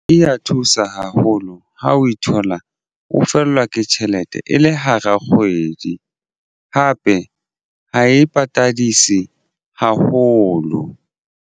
E ya thusa haholo ha o e thola o fellwa ke tjhelete e le hara kgwedi hape ha e patadisi haholo.